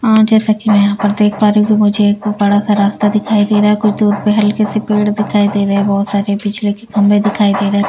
जैसा कि मैं यहां पर देख पा रही हूं कि मुझे एक बड़ा सा रास्ता दिखाई दे रहा है कुछ दूर पर हल्के से पेड़ दिखाई दे रहे हैं बहुत सारे बिजली के खंभे दिखाई दे रहे हैं।